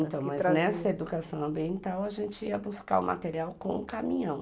Então, mas nessa educação ambiental, a gente ia buscar o material com o caminhão.